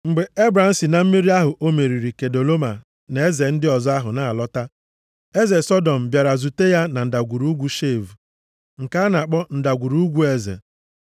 Mgbe Ebram si na mmeri ahụ o meriri Kedoloma na eze ndị ọzọ ahụ na-alọta, eze Sọdọm bịara zute ya na Ndagwurugwu Shave (nke a na-akpọ Ndagwurugwu Eze).